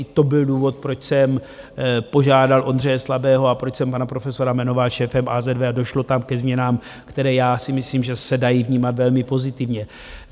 I to byl důvod, proč jsem požádal Ondřeje Slabého a proč jsem pana profesora jmenoval šéfem AZV a došlo tam ke změnám, které já si myslím, že se dají vnímat velmi pozitivně.